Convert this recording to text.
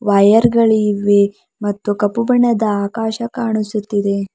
Wire ಗಳು ಇವೆ ಮತ್ತು ಕಪ್ಪು ಬಣ್ಣದ ಆಕಾಶ ಕಾಣಿಸುತ್ತಿದೆ.